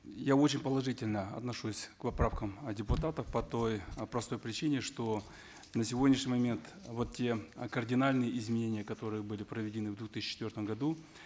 я очень положительно отношусь к поправкам от депутатов по той э простой причине что на сегодняшний момент вот те э кардинальыне изменения которые были проведены в две тысячи четвертом году